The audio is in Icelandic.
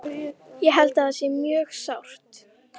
Ég held að það sé mjög sárt.